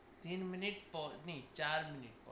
তিন মিনিট পর নেহি চার মিনিট পর।